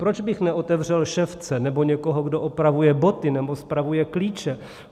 Proč bych neotevřel ševce nebo někoho, kdo opravuje boty nebo spravuje klíče.